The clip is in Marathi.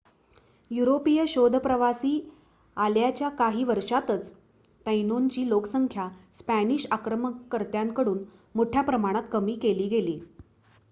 युरोपीय शोधप्रवासी आल्याच्या काही वर्षातच तैनोंची लोकसंख्या स्पॅनिश आक्रमणकर्त्यांकडून मोठ्या प्रमाणात कमी केली गेली